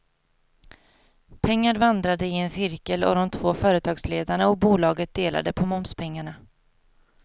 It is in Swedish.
Pengar vandrade i en cirkel och de två företagsledarna och bolaget delade på momspengarna.